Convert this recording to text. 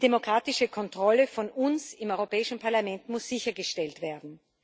Die demokratische Kontrolle durch uns im Europäischen Parlament muss sichergestellt werden.